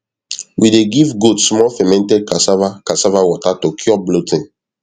we dey give goat small fermented cassava cassava water to cure bloating